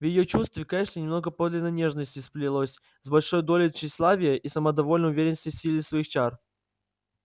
в её чувстве к эшли немного подлинной нежности сплелось с большой долей тщеславия и самодовольной уверенности в силе своих чар